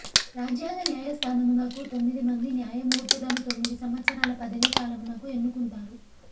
రాజ్యాంగ న్యాయస్తానమునకు తొమ్మిది మంది న్యాయ మూర్తులను తొమ్మిది సంవత్సరాల పదవీ కాలమునకు ఎన్నుకుంటారు